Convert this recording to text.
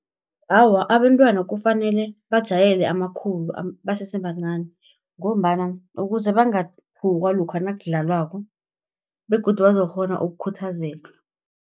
Awa abentwana kufanele bajayele amakhulu basesebancani, ngombana ukuze bangathukwa lokha nakudlalwako, begodu bazokukghona ukukhuthazeka.